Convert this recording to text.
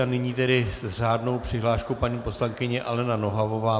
A nyní tedy s řádnou přihláškou paní poslankyně Alena Nohavová.